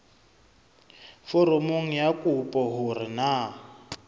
foromong ya kopo hore na